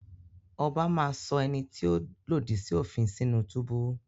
Ọbá máa sọ ẹni tí ó lòdì sí òfin sínú túbú.